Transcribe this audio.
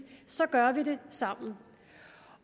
så gør vi det sammen